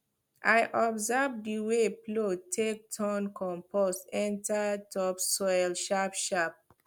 i observe the wey plow take turn compost enter topsoil sharpsharp